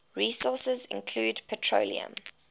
resources include petroleum